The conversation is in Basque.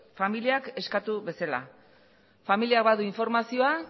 familia eskatu bezala familiak badu informazioa